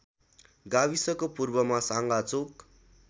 गाविसको पूर्वमा साँगाचोक